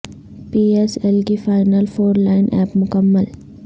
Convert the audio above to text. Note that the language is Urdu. پی ایس ایل کی فائنل فور لائن اپ مکمل